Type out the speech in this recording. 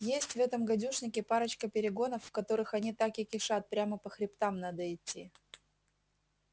есть в этом гадюшнике парочка перегонов в которых они так и кишат прямо по хребтам надо идти